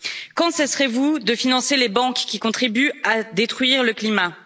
Quand cesserez vous de financer les banques qui contribuent à détruire le climat?